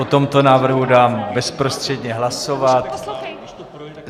O tomto návrhu dám bezprostředně hlasovat.